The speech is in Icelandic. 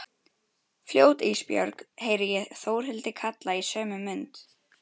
Fljót Ísbjörg, heyri ég Þórhildi kalla í sömu mund.